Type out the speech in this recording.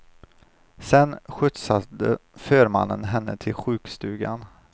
Sen skjutsade förmannen henne till sjukstugan.